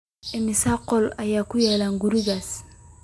Immisa qol ayaa ku yaal gurigaas?